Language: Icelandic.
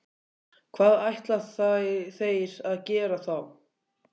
Hvað ætla þeir að gera þá?